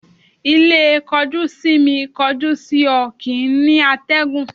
Ilé kọjú-sí-mi, kọjú-sí-ọ kìí ní àtẹ̀gùn